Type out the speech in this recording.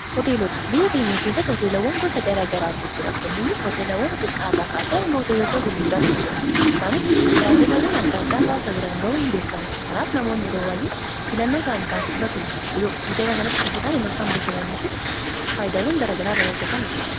Hoteelota, biyya keenya keessatti hooteelawwan gosa garaa garaatu jira. Kunninis hooteelawwan xixiqqaa irraa kaasee hanga hooteelota gurguddaatu jira. Isaanis tajaajilawwan adda addaa hawasa biraan ga'uu ni beekamu. Kanaaf namoonni yeroo baay'ee fiilannoo isaanii taasifatu. Hooteela kanatti dhufuudhan iddoo bashannanaa fi faayidaawwan gara gara irraa argatan argina.